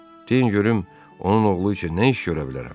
Deyin görüm, onun oğlu üçün nə iş görə bilərəm?